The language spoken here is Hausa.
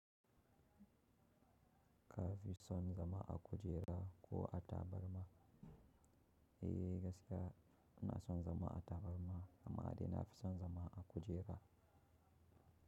Ka fi son zama a kujera ko a tabarma? Eh, gaskiya ina son zama a tabarma, amma dai nafi son zama a kujera.